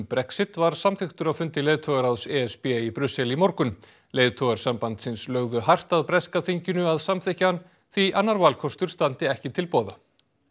Brexit var samþykktur á fundi leiðtogaráðs e s b í Brussel í morgun leiðtogar sambandsins lögðu hart að breska þinginu að samþykkja hann því annar valkostur standi ekki til boða